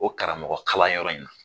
O karamɔgɔkalanyɔrɔ in na